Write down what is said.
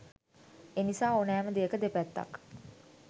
එනිසා ඕනෑම දෙයක දෙපැත්තක්